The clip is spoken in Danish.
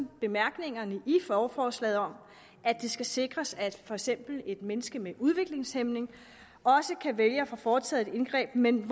bemærkningerne i lovforslaget om at det skal sikres at for eksempel et menneske med udviklingshæmning også kan vælge at få foretaget et indgreb men